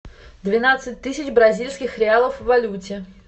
двенадцать тысяч бразильских реалов в валюте